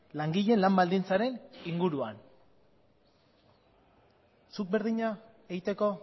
langileen lan baldintzaren inguruan zuk berdina egiteko